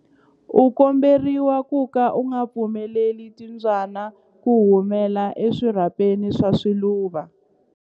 U komberiwa ku ka u nga pfumeleli timbyana ku humela eswirhapeni swa swiluva.